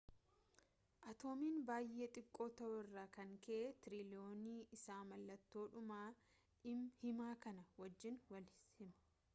atoomiin baay'ee xiqqoo ta'uu irraa kan ka'e tiriiliyoonni isaa mallattoo dhuma hima kanaa wajjiin wal sima